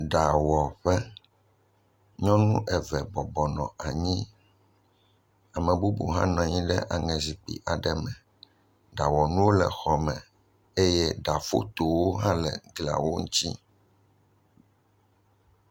Ɖawɔƒe, nyɔnu eve bɔbɔ nɔ anyi, ame bubu hã nɔ anyi ɖe aŋe zikpui aɖe me, ɖawɔnuwo le xɔme eye ɖa fotowo hã le xɔ me.